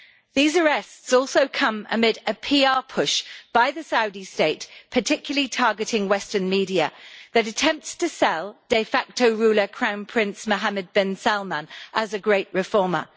These arrests also come amid a PR push by the Saudi State, particularly targeting Western media, that attempts to sell de facto ruler Crown Prince Mohammed bin Salman as a great reformer.